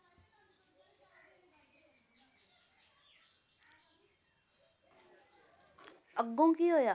ਅੱਗੋਂ ਕੀ ਹੋਇਆ?